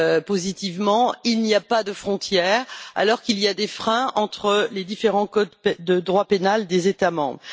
positivement, il n'y a pas de frontières alors qu'il existe des freins entre les différents codes de droit pénal des États membres.